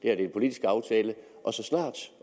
er en politisk aftale og så snart